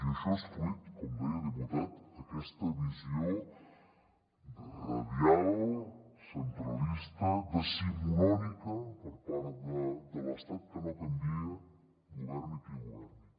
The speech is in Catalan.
i això és fruit com deia diputat d’aquesta visió radial centralista decimonònica per part de l’estat que no canvia governi qui governi